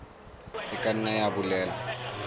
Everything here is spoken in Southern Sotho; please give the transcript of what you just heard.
e ka nna ya bolela